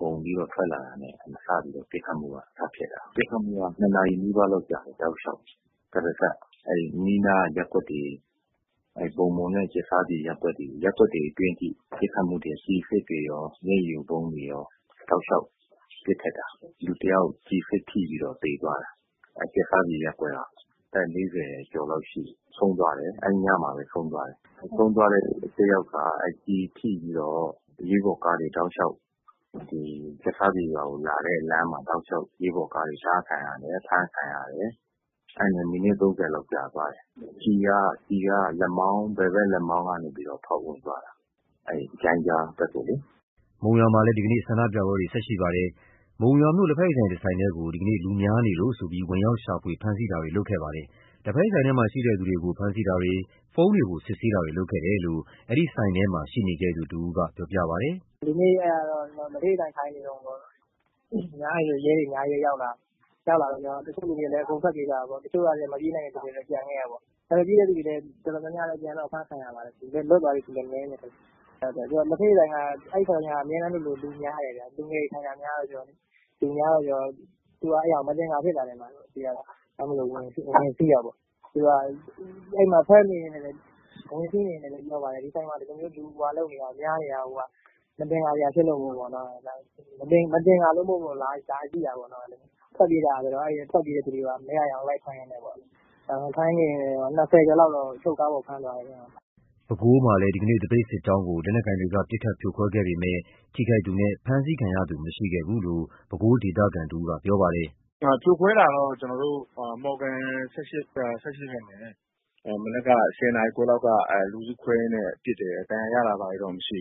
အုံပြီးတော့ ထွက်လာတာနဲ့ ပစ်ခတ်မှုက စဖြစ်တယ်။ ပစ်ခတ်မှုက ၂ နာရီနီးပါးလောက်ကြာတယ် တောက်လျှောက်ကြီး၊ တရစပ် ရပ်ကွက်တွေထဲထိဝင်ပြီး ကျည်အစစ်တွေနဲ့ရော၊ မျက်ရည်ယိုဗုံးတွေနဲ့ရော တောက်လျှောက်ပစ်ခတ်တာ၊ လူတစ်ယောက်ကျည်ထိပြီးသေသွားတယ်၊ ကြက်ဆားပြင်ရပ်ကွက်ကပဲ အဲ့ညမှာပဲဆုံးသွားတယ်။. ဆုံးသွားတဲ့သူက ကျည်ထိပြီးတော့ အရေးပေါ်ကားတွေတောက်လျှောက် လာတဲ့လမ်းမှာ တားခံရတယ်။ ဖမ်းခံရတယ်။ အဲ့ဒါနဲ့ မိနစ် ၃၀ လောက်ကြာသွားတယ်။ ကျည်က ဘယ်ဖက်လက်မောင်းကနေပြီးတော့ ဖောက်ဝင်သွားတာ ဂျိုင်းကြားဖက်ကို။” ဒီကနေ့ မုံရွာမှာလည်း ဆန္ဒပြမှုတွေ ဆက်ရှိနေပါတယ်။ ဒီနေ့ မုံရွာမြို့ လက်ဖက်ရည်ဆိုင် တစ်ဆိုင်ထဲကို လူများနေလို့ ဆိုပြီး ဝင်ရောက် ရှာဖွေဖမ်းဆီးတာတွေလုပ်ခဲ့ပါတယ်။ လက်ဖက်ရည်ဆိုင်ထဲမှာရှိတဲ့ သူတွေကို ဖမ်းဆီးတာတွေ၊ ဖုန်းတွေကို စစ်ဆေးတာမျိုးလုပ်ခဲ့တယ်လို့ အဲ့ဒီဆိုင်ထဲမှာရှိနေခဲ့သူ တစ်ဦးက ပြောပြပါတယ်။ “ဒီနေ့ အဲ့ဒီ လက်ဖက်ရည်ဆိုင်မှာ ထိုင်နေတုန်း ရဲတွေ အများကြီးပဲ ရောက်လာတယ်။ ရောက်လာတော့ ဆိုင်ထဲက လူတွေကလည်း ထွက်ပြေးကြတာပေါ့။ မပြေးနိုင်တဲ့ သူတွေကတော့ ကျန်ခဲ့တယ်။ မပြေးတဲ့သူ တော်တော်များများတော့ အဖမ်းခံရတယ်။ လွတ်လာတဲ့သူတော့ နည်းတယ်ဗျ။ အဲ့လက်ဖက်ရည်ဆိုင်က အမြဲတမ်းလိုလို လူများတယ်။ လူငယ်တွေထိုင်တာ များတော့ကျ လူများတယ်ဆိုတော့ သူတို့က အဲ့တာကို အသခ်ါဖြစ်တာပေါ့။ ဒါကြောင့်မို့ ဝင်စီးတာပေါ့။ သူတို့က အဲ့မှာ ဝင်လာကတည်းက ပြောပါတယ်၊ ဒီဆိုင်မှာ အဲ့လို လူများနေတာကိုက မသခ်ါစရာဖြစ်လို့မို့ လာကြည့်တာပေါ့၊ အဲ့တော့ လူတွေက ထွက်ပြေးကြတော့ ထွက်ပြေးတဲ့လူတွေကို မရရအောင်လိုက်ဖမ်းတာပေါ့။ ၂၀ ကျော်လောက်တော့ အချုပ်ကားပေါ်ဖမ်းသွားတယ်ဗျ။” ပဲခူးမှာလည်း ဒီကနေ့ သပိတ်စစ်ကြောင်းကို လက်နက်ကိုင်တွေက ပစ်ခတ်ဖြိုခွဲခဲ့ပေမယ့် ထိခိုက်သူနှင့် ဖမ်းဆီးခံရသူ မရှိခဲ့ဘူးလို့ ပဲခူး ဒေသခံတစ်ဦးက ပြောပါတယ်။ “ဖြိုခွဲတာကတော့ ကျွန်တော်တို့ မော်ဂံ ၁၈ ရပ်ကွက်ဖက်မနက်က ၁၀ နာရီခွဲလောက်က လူစုခွဲရင်းနဲ့ ပစ်တယ်။ ဒဏ်ရာရတာတွေတော့ မရှိ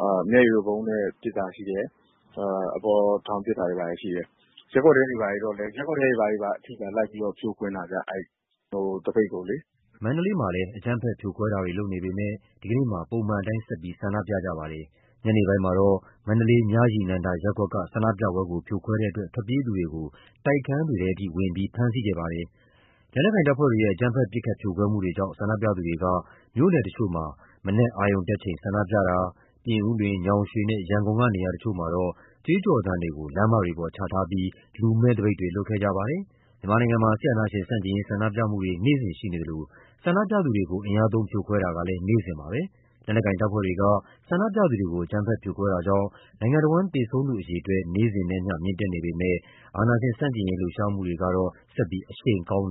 ဘူး။ မျက်ရည်ယိုဗုံးနဲ့ ပစ်တာရှိတယ်။ အပေါ်ထောင်ပစ်တာတွေဘာတွေရှိတယ်။ ရပ်ကွက်ထဲတွေထိ လိုက်ပြီးတော့ ဖြိုခွဲတာဗျ သပိတ်ကိုလေ။” မန္တလေးမှာလည်း လက်နက်ကိုင်တပ်ဖွဲ့တွေက အကြမ်းဖက်ဖြိုခွဲမှုတွေလုပ်နေပေမယ့် ဒီကနေ့မှာ ပုံမှန်အတိုင်း ဆက်ပြီး ဆန္ဒပြခဲ့ကြပါတယ်။ ညနေပိုင်းမှာတော့ မန္တလေး မြရည်နန္ဒာရပ်ကွက်က ဆန္ဒပြမှုကို ဖြိုခွဲတဲ့အတွက် ထွက်ပြေးသူတွေကို တိုက်ခန်းတွေထဲထိ ဝင်ရောက်ဖမ်းဆီးတာတွေလုပ်ခဲ့ပါတယ်။ လက်နက်ကိုင်တပ်ဖွဲ့တွေရဲ့ အကြမ်းဖက် ပစ်ခတ်ဖြိုခွဲမှုတွေကြောင့် ဆန္ဒပြသူတွေက မြို့နယ်တစ်ချို့မှာ မနက်အာရုံတက်ချိန် ဆန္ဒပြတာ၊ ပြင်ဦးလွင်၊ ညောင်ရွေနှင့် ရန်ကုန်က နေရာတစ်ချို့မှာ ကြွေးကြော်သံတွေကို လမ်းမပေါ်ချထားပြီး လူမဲ့သပိတ်တွေ လုပ်ခဲ့ကြပါတယ်။ မြန်မာမှာ စစ်အာဏာရှင် ဆန့်ကျင်ရေး ဆန္ဒပြလှုပ်ရှားမှုတွေ နေ့စဉ်ရှိနေသလို ဆန္ဒပြသူတွေကို ဖြိုခွဲမှုတွေကလည်း နေ့စဉ်ရှိနေပါတယ်။ လက်နက်ကိုင်တပ်ဖွဲ့တွေက ဆန္ဒပြအုပ်စုတွေကို အကြမ်းဖက်ဖြိုခွဲမှုတွေကြောင့် နိုင်ငံတစ်ဝန်း သေဆုံးသူတွေ နေ့စဉ်နဲ့အမျှ မြင့်တက်နေပေမယ့် အာဏာရှင် ဆန့်ကျင်ရေးလှုပ်ရှားမှုတွေကတော့ ဆက်လက်အရှိန်ကောင်းနေ